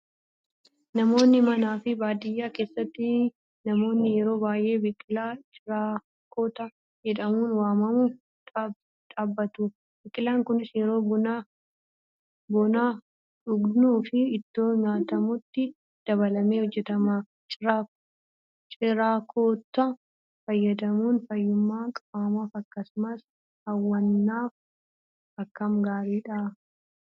Naannoo manaa fi baadiyyaa keessatti namoonni yeroo baay'ee biqilaa ciraakkota jedhamuun waamamu dhaabbatu. Biqilaan kunis yeroo buna dhugnuu fi ittoo nyaatamutti dabalamee hojjatama. Ciraakkota fayyadamuun fayyummaa qaamaaf akkasumas hawwannaaf akkam gaariidha.